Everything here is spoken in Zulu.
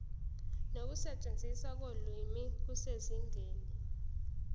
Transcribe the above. nokusetshenziswa kolimi kusezingeni